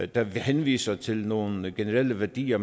der henviser til nogle generelle værdier